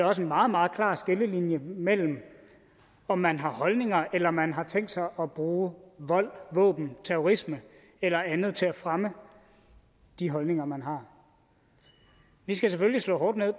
også en meget meget klar skillelinje mellem om man har holdninger eller man har tænkt sig at bruge vold våben terrorisme eller andet til at fremme de holdninger man har vi skal selvfølgelig slå hårdt ned